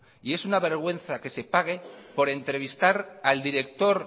es una vergüenza que se pague por entrevistar al director